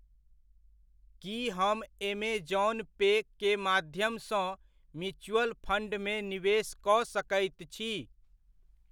की हम ऐमेज़ौन पे के माध्यमसँ म्यूचुअल फण्डमे निवेश कऽ सकैत छी ?